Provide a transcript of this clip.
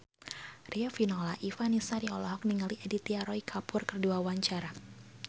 Riafinola Ifani Sari olohok ningali Aditya Roy Kapoor keur diwawancara